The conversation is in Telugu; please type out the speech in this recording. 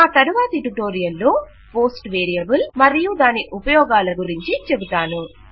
నా తరువాతి ట్యుటోరియల్ లో పోస్ట్ వేరియబుల్ మరియు దాని ఉపయోగాల గురించి చెబుతాను